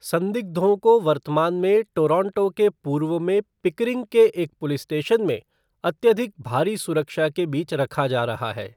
संदिग्धों को वर्तमान में टोरंटो के पूर्व में पिकरिंग के एक पुलिस स्टेशन में अत्यधिक भारी सुरक्षा के बीच रखा जा रहा है।